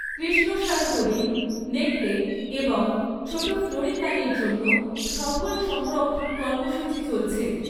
কৃষ্ণসার হরিণ, নেকড়ে এবং ছোট ফ্লোরিকানের জন্য সফল সংরক্ষণ কর্মসূচি চলছে।